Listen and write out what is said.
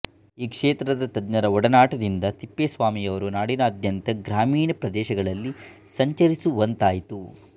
ಈ ಕ್ಷೇತ್ರದ ತಜ್ಞರ ಒಡನಾಟದಿಂದ ತಿಪ್ಪೇಸ್ವಾಮಿಯವರು ನಾಡಿನಾದ್ಯಂತ ಗ್ರಾಮೀಣ ಪ್ರದೇಶಗಳಲ್ಲಿ ಸಂಚರಿಸುವಂತಾಯಿತು